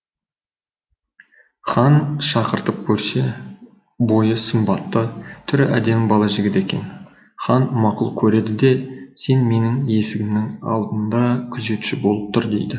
хан шақыртып көрсе бойы сымбатты түрі әдемі бала жігіт екен хан мақұл көреді де сен менің есігімнің алдында күзетші болып тұр дейді